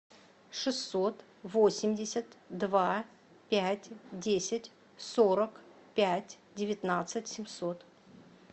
шестьсот восемьдесят два пять десять сорок пять девятнадцать семьсот